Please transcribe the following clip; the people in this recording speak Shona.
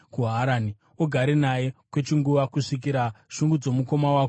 Ugare naye kwechinguva kusvikira shungu dzomukoma wako dzaserera.